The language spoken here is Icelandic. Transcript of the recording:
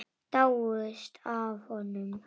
Dáist að honum.